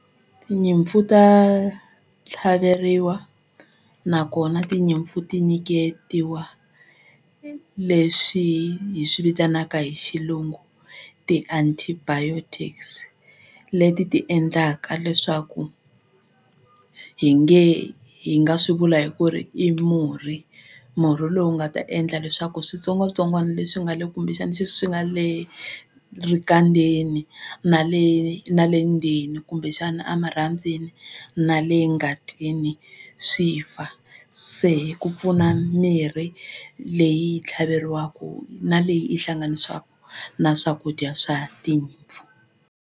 Tinyimpfu ta tlhaveriwa nakona tinyimpfu ti nyiketiwa leswi hi swi vitanaka hi xilungu ti-antibiotics leti ti endlaka leswaku hi nge hi nga swi vula hi ku ri i murhi murhi lowu nga ta endla leswaku switsongwatsongwana leswi nga le kumbexani swi nga le rikandzeni na le na le ndzeni kumbe xana a marhandzini na le ngatini swi fa se ku pfuna mirhi leyi tlhaveriwaku na leyi i hlanganisaku na swakudya swa tinyimpfu.